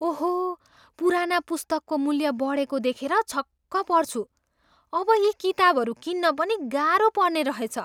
ओहो! पुराना पुस्तकको मूल्य बढेको देखेर छक्क पर्छु। अब यी किताबहरू किन्न पनि गाह्रो पर्ने रहेछ।